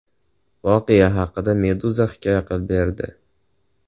Voqea haqida Meduza hikoya qilib berdi .